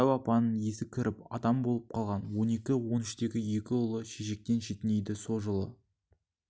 дәу апаның есі кіріп адам болып қалған он екі он үштегі екі ұлы шешектен шетінейді со жылы